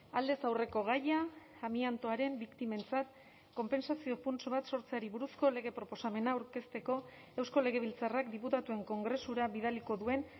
aldez aurreko gaia amiantoaren biktimentzat konpentsazio funts bat sortzeari buruzko lege proposamena aurkezteko eusko legebiltzarrak diputatuen kongresura bidaliko duen